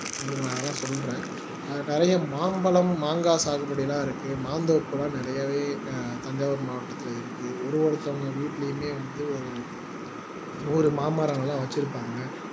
உங்களுக்கு நான் அதெல்லாம் சொல்றேன் நிறைய மாம்பழம் மாங்காய் சாகுபடி எல்லாம் இருக்கு மாந்தோப்பு எல்லாம் நிறையவே தஞ்சாவூர் மாவட்டத்தில இருக்கு ஒரு ஒருத்தங்க வீட்டிலயுமே ஒரு மாமரங்கள் எல்லாம் வெச்சிருப்பாங்க